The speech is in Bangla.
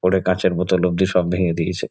ওরে কাঁচের বোতল অবধি সব ভেঙ্গে দিয়েছে।